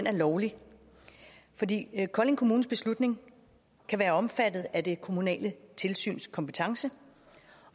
er lovlig fordi kolding kommunes beslutning kan være omfattet af det kommunale tilsyns kompetence